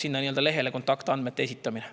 Urve Tiidus, palun!